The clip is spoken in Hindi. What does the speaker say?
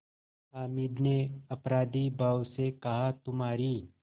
हामिद ने अपराधीभाव से कहातुम्हारी